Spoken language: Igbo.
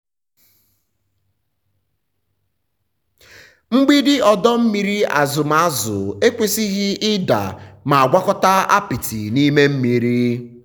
mgbidi ọdọ mmiri azụm azụ ekwesịghị ịda ma gwakọta apịtị n'ime mmiri.